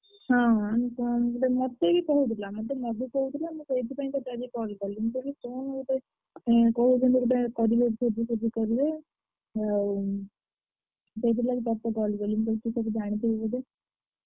ହଁ ହଁ ମତେ କିଏ କହୁଥିଲା ମତେ ମଧୁ କହୁଥିଲା ମୁଁ ସେଇଥିପାଇଁ ଆଜି ତତେ call କଲି ମୁଁ କହିଲି କଣ ଗୋଟେ କହୁଛନ୍ତି ଭୋଜି ଫୋଜି କରିବେ